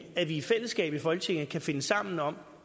at vi i fællesskab i folketinget kan finde sammen om